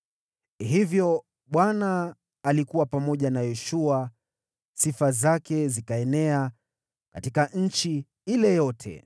Hivyo Bwana alikuwa pamoja na Yoshua, na sifa zake zikaenea katika nchi yote.